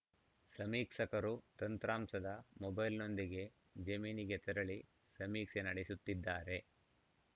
ಸಮೀಕ್ಷಕರು ತಂತ್ರಾಂಶದ ಮೊಬೈಲ್‌ನೊಂದಿಗೆ ಜಮೀನಿಗೆ ತೆರಳಿ ಸಮೀಕ್ಷೆ ನಡೆಸುತ್ತಿದ್ದಾರೆ